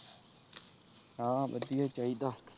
ਹਾਂ ਵਧੀਆ ਚਾਹੀਦਾ।